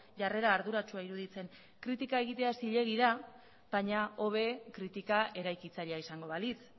jarrera arduratsua iruditzen kritika egitea zilegi da baina hobe kritika eraikitzailea izango balitz